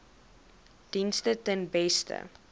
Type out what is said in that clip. dienste ten beste